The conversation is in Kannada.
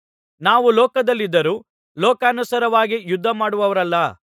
ನಾವು ಲೋಕದಲ್ಲಿದ್ದರೂ ಲೋಕಾನುಸಾರವಾಗಿ ಯುದ್ಧಮಾಡುವವರಲ್ಲ